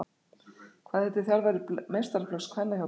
Hvað heitir þjálfari meistaraflokks kvenna hjá Breiðablik?